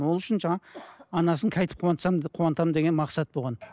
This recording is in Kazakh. ол үшін жаңағы анасын қайтіп қуантсам қуантамын деген мақсат болған